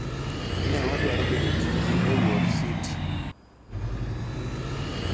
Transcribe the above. Ne wadwaro bedo kidi e wuor City.